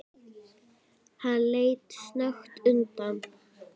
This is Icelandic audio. Hann leit snöggt undan.